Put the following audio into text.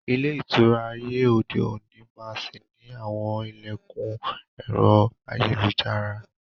Ilé ìtura ayé òde òní máa sì ni àwọn ilẹkun ẹ̀rọ ayélujára.